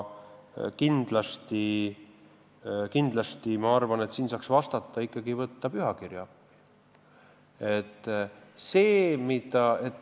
Aga ma arvan, et siin saaks vastates ikkagi võtta appi pühakirja.